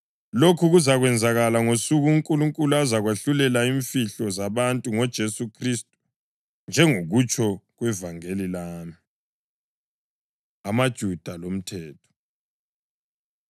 Lokhu kuzakwenzakala ngosuku uNkulunkulu azakwahlulela imfihlo zabantu ngoJesu Khristu, njengokutsho kwevangeli lami. AmaJuda LoMthetho